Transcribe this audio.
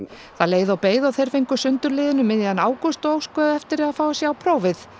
það leið og beið og þeir fengu sundurliðun um miðjan ágúst og óskuðu eftir að fá að sjá prófið